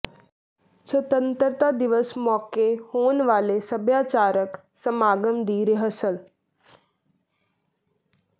ਸੁਤੰਤਰਤਾ ਦਿਵਸ ਮੌਕੇ ਹੋਣ ਵਾਲੇ ਸੱਭਿਆਚਾਰਕ ਸਮਾਗਮ ਦੀ ਰਿਹਰਸਲ